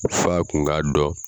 F'a kun k'a dɔn